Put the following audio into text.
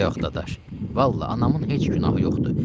Yox, dadaş, vallah anamın heç günahı yoxdur.